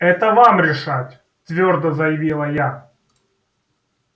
это вам решать твёрдо заявила я